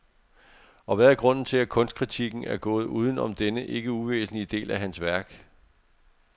Og hvad er grunden til, at kunstkritikken er gået uden om denne ikke uvæsentlige del af hans værk?